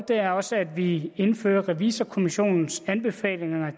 er også at vi indfører revisorkommissionens anbefaling